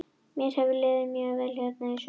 Mér hefur liðið mjög vel hérna í sumar.